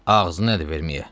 Ağzı nədir verməyə?